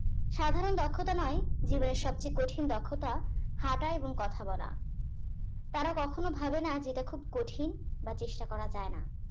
সাধারণ দক্ষতা নয় জীবনের সব চেয়ে কঠিন দক্ষতা হাঁটা এবং কথা বলা তারা কখনো ভাবে না যে এটা খুব কঠিন বা চেষ্টা করা যাই না